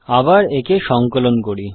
আবার একে সংকলন করি